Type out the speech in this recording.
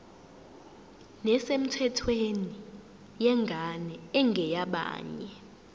nesemthethweni yengane engeyabanye